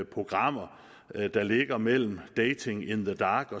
programmer der ligger mellem dating in the dark